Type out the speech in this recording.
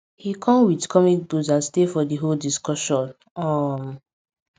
him kom with comic books and stay for di whole discussion um